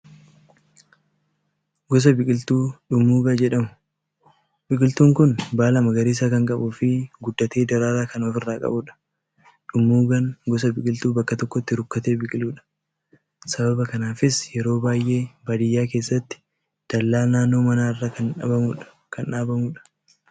Gosa biqiltuu dhummuugaa jedhamu. Biqiltuun kun baala magariisa kan qabuu fi guddatee daraaraa kan ofirraa qabudha. Dhummuugaan gosa biqiltuu bakka tokkotti rukkatee biqiludha. Sababa kanaafis yeroo baay'ee baadiyyaa keessatti dallaa naannoo manaarra kan dhaabamudha.